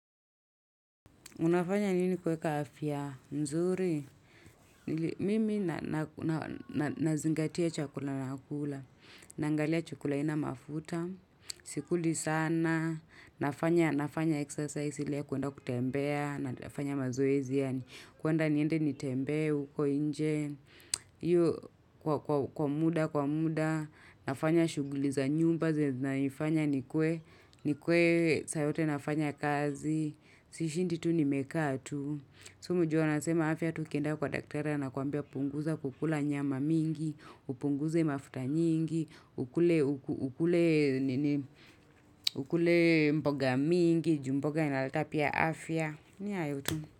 Unafanya nini kweka afya? Nzuri? Mimi nazingatia chakula na kula. Nangalia chakulaina mafuta. Sikuli sana. Nafanya exercise ile ya kuenda kutembea. Nafanya mazoezi yani. Kuenda niende nitembe uko inje. Iyo kwa muda, kwa muda. Nafanya shuguli za nyumba. Naifanya nikue ni kwe sayote nafanya kazi. Sishindi tu ni mekatu sumu juo nasema afya tu kenda kwa daktere na kuambia punguza kukula nyama mingi Upunguze mafuta nyingi Ukule mboga mingi Jumboga inalata pia afya ni ayo tu.